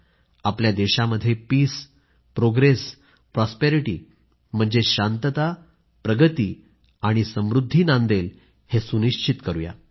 आणि आपल्या देशामध्ये पीस प्रोग्रेस प्रॉस्पेरिटी म्हणजेच शांतता प्रगतीआणि समृद्धी नांदेल हे सुनिश्चित करूया